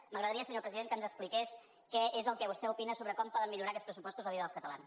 m’agradaria senyor president que ens expliqués què és el que vostè opina sobre com poden millorar aquests pressupostos la vida dels catalans